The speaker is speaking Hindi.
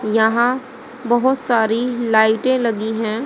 यहां बहोत सारी लाइटें लगी हैं।